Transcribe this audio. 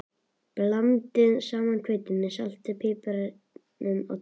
Blandið saman hveitinu, saltinu og piparnum á disk.